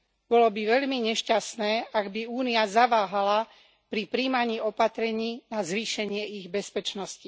Bolo by veľmi nešťastné, ak by Únia zaváhala pri prijímaní opatrení na zvýšenie ich bezpečnosti.